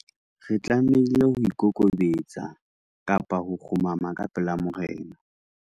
re tlamehile ho ikokobetsa, kgumama ka pela morena